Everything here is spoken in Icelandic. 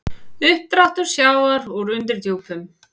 Uppdráttur sjávar úr undirdjúpum